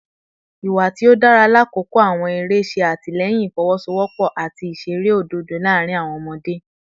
Iwa ti o dara lakoko awọn ere ṣe atilẹyin ifowosowopo ati iṣere ododo laarin awọn ọmọde